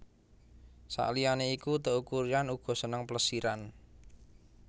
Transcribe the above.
Saliyané iku Teuku Ryan uga seneng plesiran